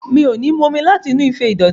Mi ò ní mu omi láti inú ife dídòtí.